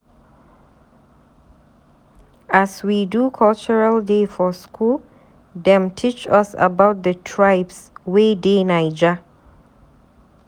As we do cultural day for skool, dem teach us about di tribes wey dey Naija.